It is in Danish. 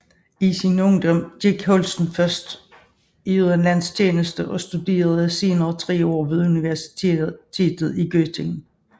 I sin ungdom gik Holsten først i udenlandsk tjeneste og studerede senere 3 år ved universitetet i Göttingen